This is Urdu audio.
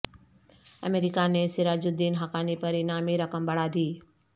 امریکہ نے سراج الدین حقانی پر انعامی رقم بڑھا دی